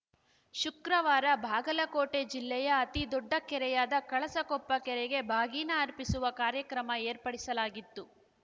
ಶುಕ್ರವಾರ ಬಾಗಲಕೋಟೆ ಜಿಲ್ಲೆಯ ಅತೀ ದೊಡ್ಡ ಕೆರೆಯಾದ ಕಳಸಕೊಪ್ಪ ಕೆರೆಗೆ ಬಾಗಿನ ಅರ್ಪಿಸುವ ಕಾರ್ಯಕ್ರಮ ಏರ್ಪಡಿಸಲಾಗಿತ್ತು